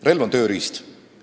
Relv on tööriist.